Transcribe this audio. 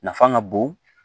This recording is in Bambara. Nafa ka bon